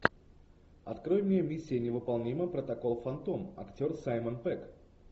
открой мне миссия невыполнима протокол фантом актер саймон пегг